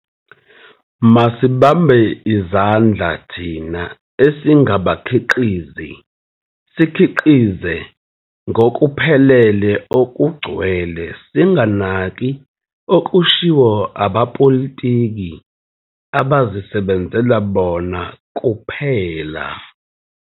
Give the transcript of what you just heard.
Masibambe izandla thina esingabakhiqizi sikhiqize ngokuphelele okugcwele singanaki okushiwo abapolitiki abazisebenzela bona kuphela.